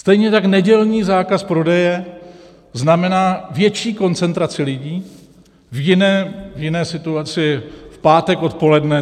Stejně tak nedělní zákaz prodeje znamená větší koncentraci lidí v jiné situaci v pátek odpoledne.